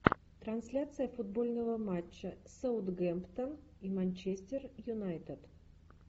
трансляция футбольного матча саутгемптон и манчестер юнайтед